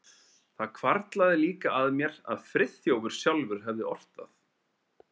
Það hvarflaði líka að mér að Friðþjófur sjálfur hefði ort það.